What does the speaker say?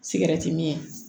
Sigɛrɛti min